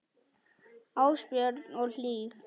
Ásbjörn og Hlíf.